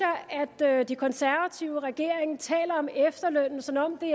jeg at de konservative og regeringen taler om efterlønnen som om den